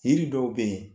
Yiri dɔw be yen